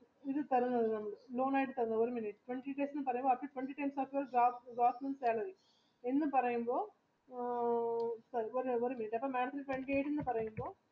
എന്ന് പറയുമ്പോൾ madam ത്തിന് twenty eight എന്ന് പറയുമ്പോൾ